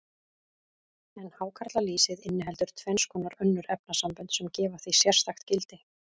En hákarlalýsið inniheldur tvenns konar önnur efnasambönd, sem gefa því sérstakt gildi.